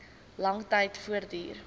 lang tyd voortduur